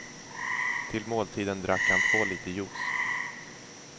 Till måltiden drack han två liter juice.